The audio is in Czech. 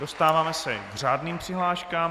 Dostáváme se k řádným přihláškám.